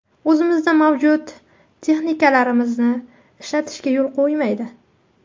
O‘zimizda mavjud texnikalarimizni ishlatishga yo‘l qo‘ymaydi.